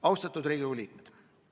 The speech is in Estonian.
Austatud Riigikogu liikmed!